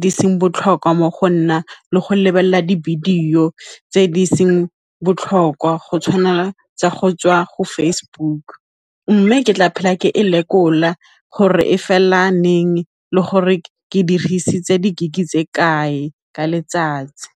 di seng botlhokwa mo go nna le go lebelela di-video tse di seng botlhokwa go tshwana tsa go tswa go Facebook, mme ke tla phela ke e lekola gore e fela neng le gore ke dirisitse di-gig tse kae ka letsatsi.